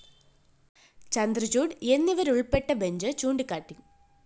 ചന്ദ്രചൂഡ് എന്നിവരുള്‍പ്പെട്ട ബെഞ്ച്‌ ചൂണ്ടിക്കാട്ടി